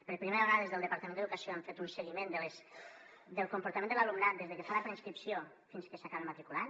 per primera vegada des del departament d’educació hem fet un seguiment del comportament de l’alumnat des de que fa la preinscripció fins que s’acaba matriculant